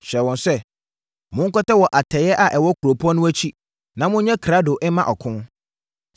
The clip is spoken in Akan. hyɛɛ wɔn sɛ, “Monkɔtɛ wɔ atɛeɛ a ɛwɔ kuropɔn no akyi na monyɛ krado mma ɔko.